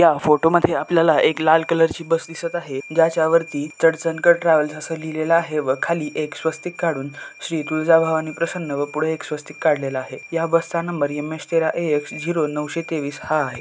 या फोटो मधे आपल्याला एक लाल कलर ची बस दिसत आहे. ज्याच्या वरती चड़चनकर ट्रॅव्हल्स आस लिहलेल आहे व खाली एक स्वस्तिक काढून श्री तुळजा भवानी प्रसन्न व पुढे एक स्वस्तिक काढलेलं आहे. या बस चा नंबर एम एच तेरा ए एक्स झीरो नऊशे तेवीस हा आहे.